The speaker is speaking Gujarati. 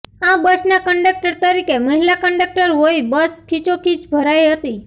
આ બસના કન્ડક્ટર તરીકે મહિલા કન્ડક્ટર હોઇ બસ ખીચોખીચ ભરાઇ હતી